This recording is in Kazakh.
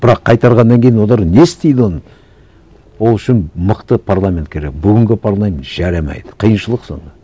бірақ қайтарғаннан кейін олар не істейді оны ол үшін мықты парламент керек бүгінгі парламент жарамайды қиыншылық сонда